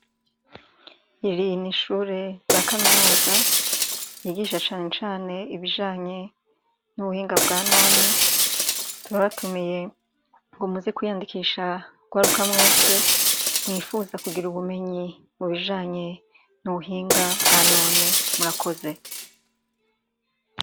Iri ni ishure rya kaminuza ryigisha cane cane ibijanye n'ubuhinga bwa none turabatumiye ngo muze kwiyandikisha rwaruka mwese mwifuza kugira ubumenyi mu bijanye n'ubuhinga bwa none. Murakoze.